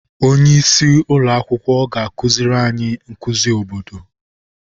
Onye isi ụlọ akwụkwọ ga-akụziri anyị nkuzi obodo.